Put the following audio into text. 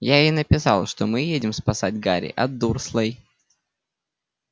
я ей написал что мы едем спасать гарри от дурслей